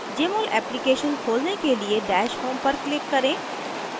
jmol application खोलने के लिए dash home पर click करें